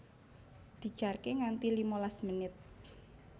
Dijarke nganti limalas menit